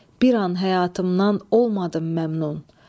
Bir an həyatımdan olmadım məmnun.